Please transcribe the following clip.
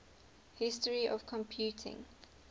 history of computing